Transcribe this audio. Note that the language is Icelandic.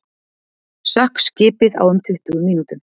Sökk skipið á um tuttugu mínútum